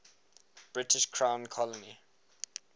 british crown colony